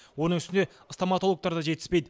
оның үстіне стоматологтар да жетіспейді